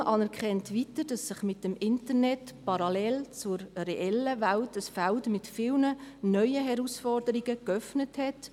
Die Kommission anerkennt weiter, dass sich mit dem Internet parallel zur reellen Welt ein Feld mit vielen neuen Herausforderungen geöffnet hat.